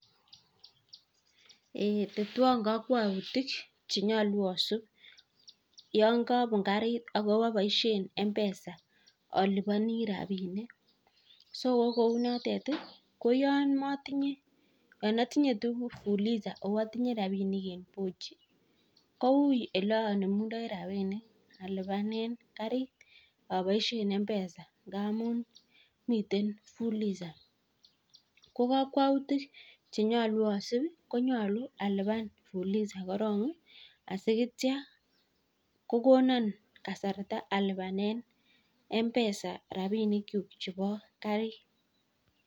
Eeeh tetwan kakwautik che nyalu yan kapun kariit ak apaishe mpesa alipani rapinik so kou notet ko yan matinye tuguk fuliza o atinye rapinik en pochi ko ui ole anemundai rapinik alipanen kariit apaishen mpesa amun miten fuliza. Ko kakwautik che nyalu asup ko nyalun alipan fuliza koron asiko yetya kokonanan kasarta alipanen mpesa rapinikchuk chepo kariit.